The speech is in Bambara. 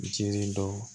Jiri dɔw